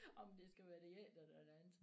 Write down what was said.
Om det skal være det ene eller det andet